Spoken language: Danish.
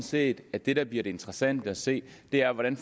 set at det der bliver interessant at se bliver hvordan